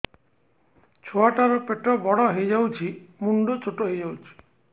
ଛୁଆ ଟା ର ପେଟ ବଡ ହେଇଯାଉଛି ମୁଣ୍ଡ ଛୋଟ ହେଇଯାଉଛି